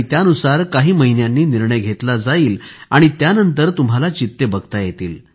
त्यानुसार काही महिन्यांनी निर्णय घेतला जाईल आणि त्यानंतर तुम्हाला चित्ते बघता येतील